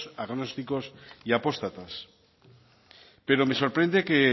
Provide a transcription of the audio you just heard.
agnósticos y apóstatas pero me sorprende que